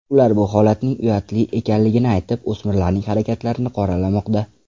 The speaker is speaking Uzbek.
Ular bu holatning uyatli ekanligini aytib, o‘smirlarning harakatlarini qoralamoqda.